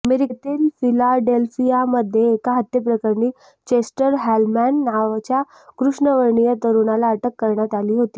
अमेरिकेतील फिलाडेल्फियामध्ये एका हत्येप्रकरणी चेस्टर हॉलमॅन नावच्या कृष्णवर्णीय तरुणाला अटक करण्यात आली होती